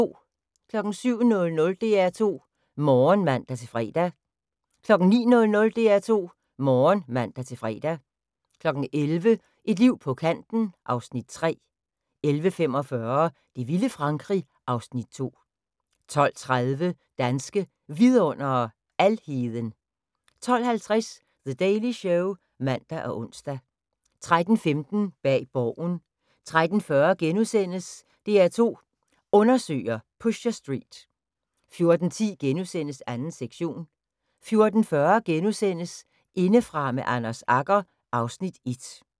07:00: DR2 Morgen (man-fre) 09:00: DR2 Morgen (man-fre) 11:00: Et liv på kanten (Afs. 3) 11:45: Det vilde Frankrig (Afs. 2) 12:30: Danske Vidundere: Alheden 12:50: The Daily Show (man og ons) 13:15: Bag Borgen 13:40: DR2 Undersøger: Pusher Street * 14:10: 2. sektion * 14:40: Indefra med Anders Agger (Afs. 1)*